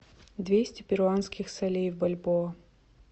двести перуанских солей в бальбоа